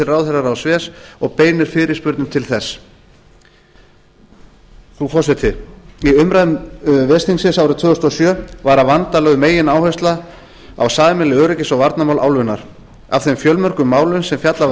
ráðherraráðs ves og beinir fyrirspurnum til þess frú forseti í umræðum ves þingsins árið tvö þúsund og sjö var að vanda lögð megináhersla á sameiginleg öryggis og varnarmál álfunnar af þeim fjölmörgu málum sem fjallað var